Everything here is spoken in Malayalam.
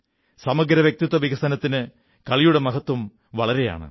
സമഗ്ര വ്യക്തിത്വ വികസനത്തിൽ കളിയുടെ മഹത്വം ഏറെയാണ്